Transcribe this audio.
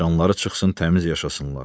Canları çıxsın təmiz yaşasınlar.